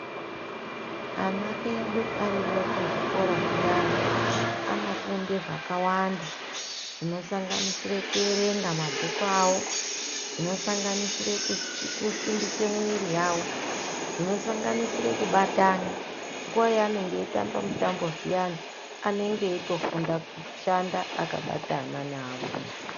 Ana edu ariyo kuzvikora zviyani anofunde zvakawanda zvinosanganisire kuerenga mabhuku awo, zvinosanganisire kusimbise mwiiri yavo, zvinosanganisire kubatana nguva yaanenge eitamba mutambo zviyani, anenge eitofunda kushanda akabatana neamweni.